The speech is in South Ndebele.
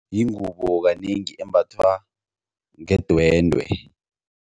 Yingubo kanengi embathwa ngedwendwe.